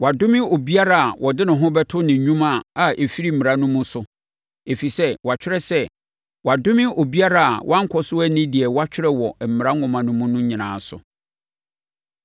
Wɔadome obiara a ɔde ne ho bɛto ne nnwuma a ɛfiri mmara no mu so. Ɛfiri sɛ wɔatwerɛ sɛ, “Wɔadome obiara a wankɔ so anni deɛ wɔatwerɛ wɔ Mmara Nwoma mu no nyinaa so.”